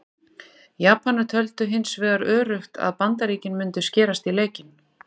Japanar töldu hins vegar öruggt að Bandaríkin mundu skerast í leikinn.